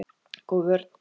Góð vörn.